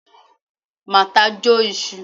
Martha Jo Isu